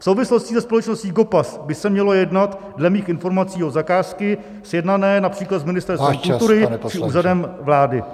V souvislosti se společností Gopas by se mělo jednat dle mých informací o zakázky sjednané například s Ministerstvem kultury či Úřadem vlády.